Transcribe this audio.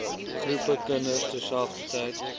groepe kinders terselfdertyd